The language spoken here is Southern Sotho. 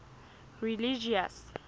religious